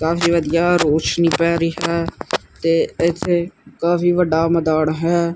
ਕਾਫੀ ਵਧੀਆ ਰੋਸ਼ਨੀ ਪੈ ਰਹੀ ਹੈ ਤੇ ਇੱਥੇ ਕਾਫੀ ਵੱਡਾ ਮੈਦਾਨ ਹੈ।